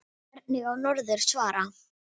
Hvernig á norður að svara?